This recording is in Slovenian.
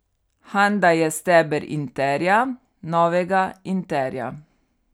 Handa je steber Interja, novega Interja.